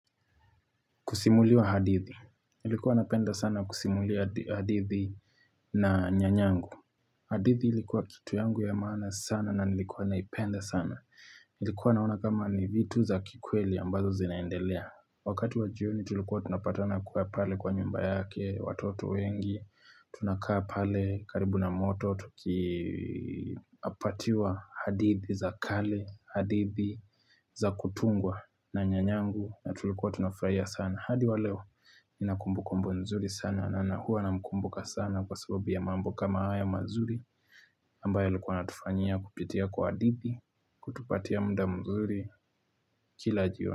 Kusimuliwa hadithi, nilikuwa napenda sana kusimuliwa hadithi na nyanyangu. Hadithi ilikuwa kitu yangu ya maana sana na nilikuwa naipenda sana. Nilikuwa naona kama ni vitu za kikweli ambazo zinaendelea. Wakati wa jioni tulikuwa tunapatana kuwa pale kwa nyumba yake, watoto wengi, tunakaa pale, karibu na moto, tukipatiwa hadithi za kale, hadithi za kutungwa na nyanyangu na tulikuwa tunafurahia sana. Hadi wa leo, ninakumbu kumbu nzuri sana na hua na mkumbuka sana kwa sababu ya mambo kama haya mazuri ambayo alikuwa natufanyia kupitia kwa hadithi, kutupatia mda mzuri kila jioni.